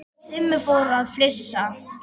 Simmi fór að flissa.